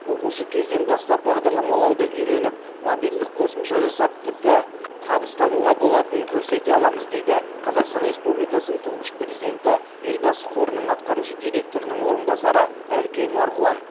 оқушы кезден бастап бағдарламалауды үйреніп мобильдік қосымша жасап тіпті табыс табуға болатынын көрсете аламыз дейді қазақстан республикасының тұңғыш президенті елбасы қорының атқарушы директорының орынбасары әлкей марғұлан